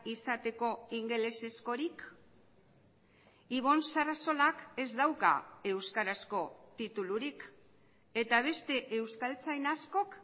izateko ingelesezkorik ibon sarasolak ez dauka euskarazko titulurik eta beste euskaltzain askok